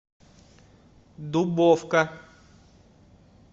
дубовка